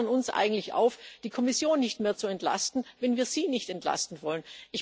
Sie fordern uns eigentlich auf, die Kommission nicht mehr zu entlasten, wenn wir Sie nicht entlasten wollen.